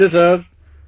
Namaste sir